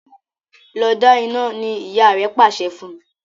Lọ dá iná! ní ìyá rẹ pàṣẹ fún.